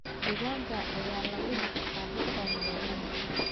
Digaagga ayaa lagu dhaqdaa xitaa magaalooyinka.